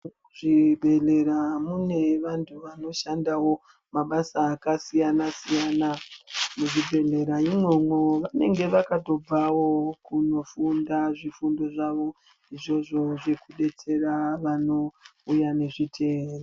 Muzvibhehlera mune vanhu vanoshandawo mabasa akasiyanasiyana, muzvibhehlera imwomwo vanenge vakatobvawo kunofunda zvifundo zvavo izvozvo zvekudetsera vanouya nezvitenda.